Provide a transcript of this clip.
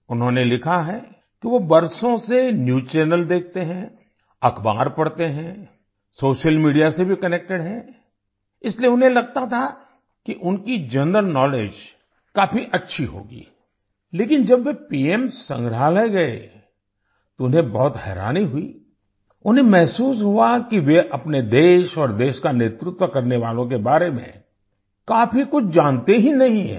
उन्होंने लिखा है कि वो बरसों से न्यूज़ चैनल देखते हैं अखबार पढ़ते हैं सोशल मीडिया से भी कनेक्टेड हैं इसलिए उन्हें लगता था कि उनकी जनरल नाउलेज काफी अच्छी होगी लेकिन जब वे पीएम संग्रहालय गए तो उन्हें बहुत हैरानी हुई उन्हें महसूस हुआ कि वे अपने देश और देश का नेतृत्व करने वालों के बारे में काफी कुछ जानते ही नहीं हैं